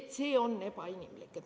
See on ebainimlik.